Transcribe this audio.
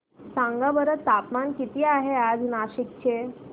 सांगा बरं तापमान किती आहे आज नाशिक चे